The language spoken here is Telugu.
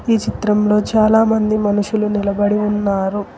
ఈ చిత్రంలో చాలామంది మనుషులు నిలబడి ఉన్నారు.